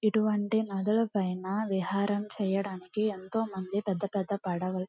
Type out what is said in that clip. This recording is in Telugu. ఇటు వంటి నదులు పైన విహారం చేయడానికి ఎంతోమంది పెద్ద పెద్ద పడవలు--